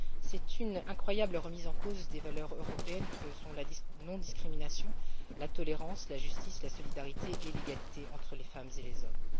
Il s'agit d'une incroyable remise en cause des valeurs européennes que sont la non discrimination, la tolérance, la justice, la solidarité et l'égalité entre les femmes et les hommes.